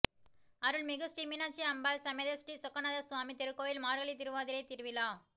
அருள்மிகு ஸ்ரீ மீனாட்சி அம்பாள் சமேத ஸ்ரீ சொக்கநாதர் சுவாமி திருக்கோவில் மார்கழி திருவாதிரை திருவிழா